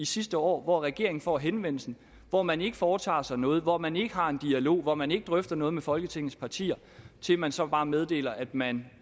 sidste år hvor regeringen får henvendelsen hvor man ikke foretager sig noget hvor man ikke har en dialog hvor man ikke drøfter noget med folketingets partier til at man så bare meddeler at man